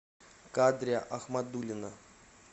кадрия ахмадулина